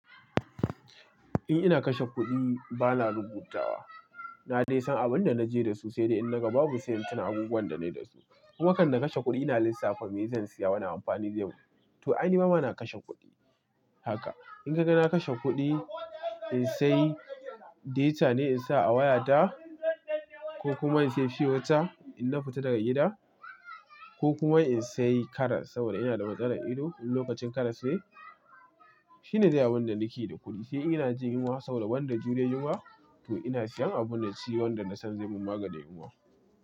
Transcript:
In ina kashe kuɗi bana rubutawa. Na dai san abin da naje dasu, sai dai in naga babu siyan tuna abubuwan da na yi dasu. Wakan da kashe kuɗi ina lissafa me zan siya wani amfani da yau. To a ni ma bana kashe kuɗi haka. In kaga na kashe kuɗi, in sai data ne in sa a wayata, ko kuma in sayi fiwota in na fita daga gida, ko kuma in sayi karas saboda ina da matsalar ido lokacin karas sai. Shi ne zai yi abin da nake yi da kuɗi. Sai in ina jin yunwa saboda banda juriyar yunwa, to ina siyan abin da ci wanda na san za mun maganin yunwa.